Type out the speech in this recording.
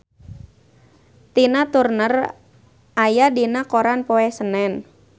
Tina Turner aya dina koran poe Senen